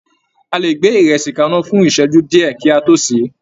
A lè gbé ìrẹsì kaná fún ìsẹ́jú díẹ̀, kí a tó sè é.